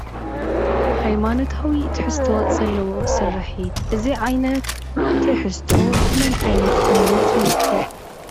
ሃይማኖታዊ ትሕዝቶ ዘለዎ ስርሒት እዚ ዓይነት ትሕዝቶ ንመን ዓይነት እምነት ይውክል?